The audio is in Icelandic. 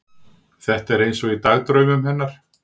Þetta er eins og í dagdraumunum hennar.